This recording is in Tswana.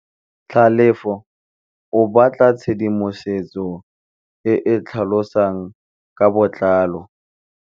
Tlhalefô o batla tshedimosetsô e e tlhalosang ka botlalô.